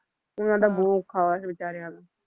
ਉਹਨਾਂ ਦਾ ਬਹੁਤ ਔਖਾ ਹੋਇਆ ਸੀ ਬੇਚਾਰਿਆਂ ਦਾ